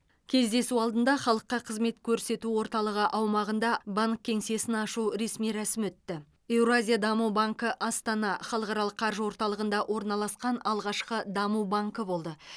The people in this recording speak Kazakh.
кездесу алдында халыққа қызмет көрсету орталығы аумағында банк кеңсесін ашу ресми рәсімі өтті евразия даму банкі астана халықаралық қаржы орталығында орналасқан алғашқы даму банкі болды